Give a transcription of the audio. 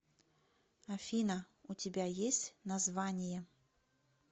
афина у тебя есть название